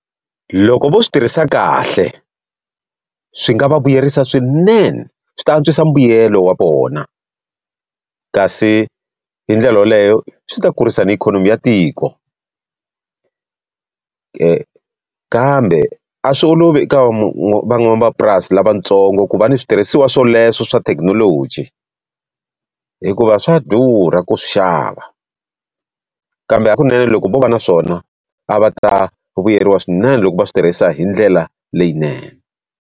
Loko vo swi tirhisa kahle, swi nga va vuyerisa swinene swi ta antswisa mbuyelo wa vona. Kasi hi ndlela yaleyo swi ta kurisaka na ikhonomi ya tiko kambe a swi olovi eka van'wamapurasi lavatsongo ku va ni switirhisiwa swoleswo swa thekinoloji, hikuva swa durha ku swi xava. Kambe hakunene loko vo va na swona, a va ta vuyeriwa swinene loko va swi tirhisa hi ndlela leyinene.